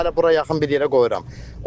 Hələ bura yaxın bir yerə qoyuram.